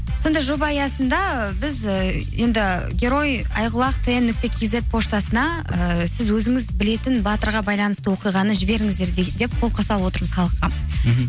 сондай жоба аясында біз і енді герой айқұлақ тэ нүкте кизет поштасына ыыы сіз өзіңіз білетін батырға байланысты оқиғаны жіберіңіздер деп қолқа салып отырмыз халыққа мхм